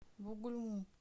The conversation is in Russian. бугульму